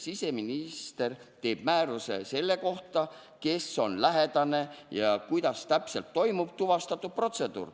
Siseminister teeb määruse selle kohta, kes on lähedane ja kuidas täpselt toimub tuvastamise protseduur.